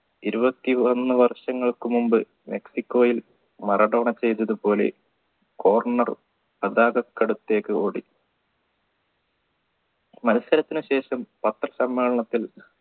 ഇരുപത്തി ഒന്ന് വർഷങ്ങൾക്കു മുമ്പ് മെക്സിക്കോയിൽ മറഡോണ ചെയ്തതുപോലെ corner പതാകത്തേക്ക് ഓടി മത്സരത്തിനുശേഷം പത്രസമ്മേളനത്തിൽ